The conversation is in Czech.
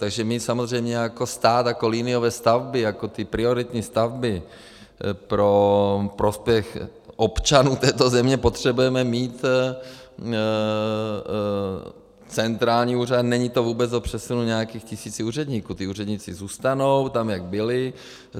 Takže my samozřejmě jako stát, jako liniové stavby, jako ty prioritní stavby pro prospěch občanů této země potřebujeme mít centrální úřad, není to vůbec o přesunu nějakých tisíc úředníků, ti úředníci zůstanou tam, jak byli.